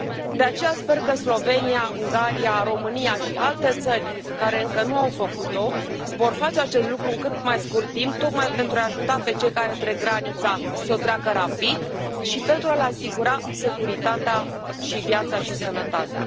De aceea sper că Slovenia, Ungaria, România și alte țări care încă nu au făcut o vor face acest lucru în cât mai scurt timp tocmai pentru a i ajuta pe cei care trec granița să o treacă rapid și pentru a le asigura securitatea și viața și sănătatea.